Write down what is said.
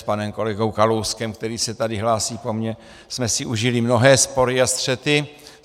S panem kolegou Kalouskem, který se tady hlásí po mně, jsme si užili mnohé spory a střety.